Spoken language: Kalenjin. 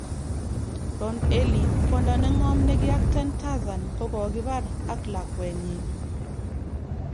Ron Ely:Kwona negom nekiacten Tazarn kokokibar ak lakwenyin .